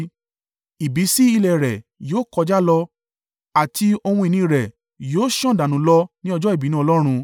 Ìbísí ilé rẹ̀ yóò kọjá lọ, àti ohun ìní rẹ̀ yóò sàn dànù lọ ni ọjọ́ ìbínú Ọlọ́run.